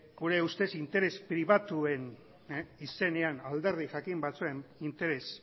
gure ustez interes pribatuen izenean alderdi jakin batzuen interes